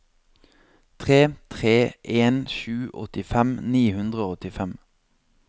tre tre en sju åttifem ni hundre og åttifem